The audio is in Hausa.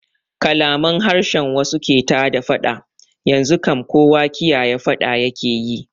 Kalaman harshen wasu ke tada faɗa, yanzu kam kowa kiyaye faɗa yake yi